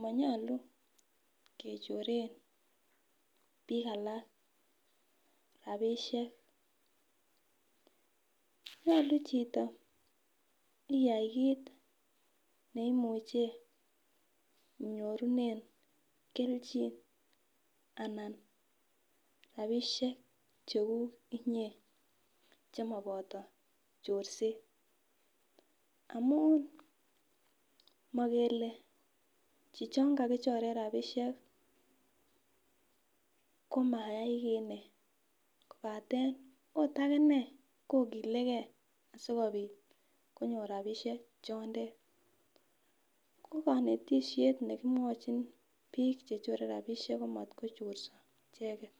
monyolu kechoren bik alak rabishek nyolu chito iyai kit neimuche ibyorunen keljin anan rabishek chekuk inyee chemoboyi chorset amun mokele chichon kakichoren rabishek komayai kii inee kopaten ot akinee kokilegee sikopit konyor rabishek chondet ko konetishet nekimwochin bik chechore rabishek matko chorso icheket.